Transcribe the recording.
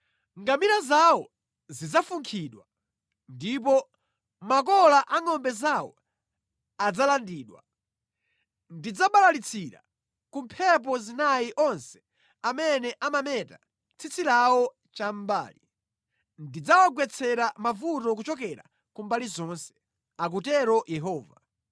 Ngamira zawo zidzafunkhidwa, ndipo makola a ngʼombe zawo adzalandidwa. Ndidzabalalitsira ku mphepo zinayi onse amene amameta tsitsi lawo chamʼmbali. Ndidzawagwetsera mavuto kuchokera ku mbali zonse,” akutero Yehova.